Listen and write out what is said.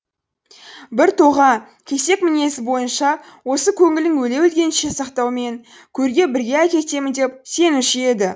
бір тоға кесек мінезі бойынша осы көңілін өле өлгенше сақтаумен көрге бірге әкетемін деп сенуші еді